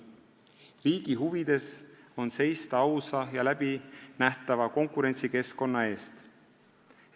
Riigi huvides on seista ausa ja läbinähtava konkurentsikeskkonna eest.